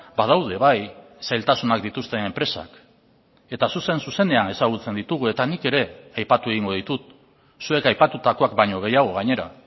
badaude bai zailtasunak dituzten enpresak eta zuzen zuzenean ezagutzen ditugu eta nik ere aipatu egingo ditut zuek aipatutakoak baino gehiago gainera